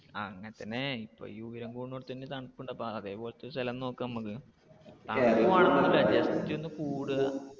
ആ അങ്ങനെ തന്നെ ഇപ്പൊ ഈ ഉയരം കുടുന്നോടത്ത് തന്നെ തണുപ്പ് ഉണ്ട് അപ്പൊ അതെപോലത്തെ ഒരു സ്ഥലം നോക്കാം നമുക്ക്. തണുപ്പ് just ഒന്ന് കൂടുക.